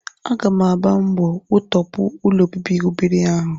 Aga m agba mbọ wutọpụ ụlọobibi ụbịrị ahụ